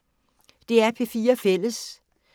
DR P4 Fælles